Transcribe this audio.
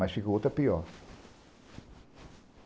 Mas ficou outra pior.